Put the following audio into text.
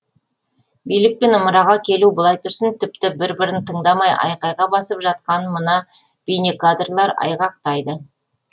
билікпен ымыраға келу былай тұрсын тіпті бір бірін тыңдамай айқайға басып жатқанын мына бейнекадрлар айғақтайды